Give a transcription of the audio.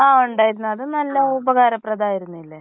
ആ ഉണ്ടായിരുന്നു അത് നല്ല ഉപകാര പ്രതമായതായിരുന്നില്ലേ.